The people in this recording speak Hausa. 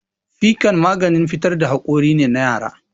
Fikan maganin fitar da hakori ne na yara